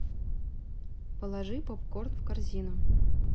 положи попкорн в корзину